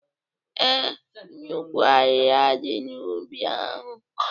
Ee, nnukwu ahịhịa dị n'ubi ahụ